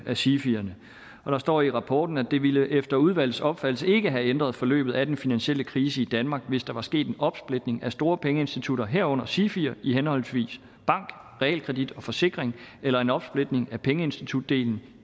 af sifierne og der står i rapporten det ville efter udvalgets opfattelse ikke have ændret forløbet af den finansielle krise i danmark hvis der var sket en opsplitning af store pengeinstitutter herunder sifi’er i henholdsvis bank realkredit og forsikring eller en opsplitning af pengeinstitutdelen